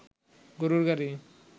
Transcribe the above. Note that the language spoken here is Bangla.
গরুর গাড়ি